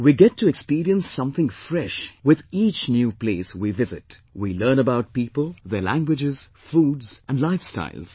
We get to experience something fresh with each new place we visit we learn about people, their languages, foods and lifestyles